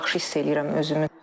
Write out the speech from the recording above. Çox yaxşı hiss eləyirəm özümü.